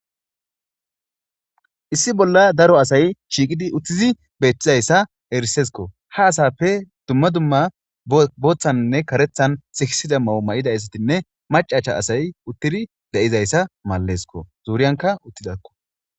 Issi bolla daro asay shiiqidi uttizi beettizayssa erisesko ha asappe dumma dumma booththannne karethan sikisida mawu ma'ida issatinne macacha asay uttidi de'ayssa malalesko zuuriyanka uttidakko.